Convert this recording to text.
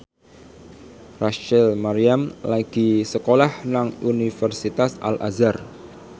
Rachel Maryam lagi sekolah nang Universitas Al Azhar